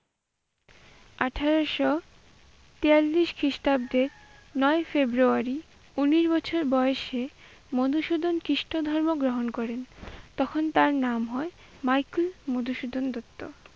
আঠারশো বিয়াল্লিশ খ্রিষ্টাব্দে নয় ই ফেব্রুয়ারী উনিশ বছর বয়সে মধুসূদন খ্রিষ্ট ধর্ম গ্রহণ করেন, তখন তার নাম হয় মাইকেল মধুসূদন দত্ত।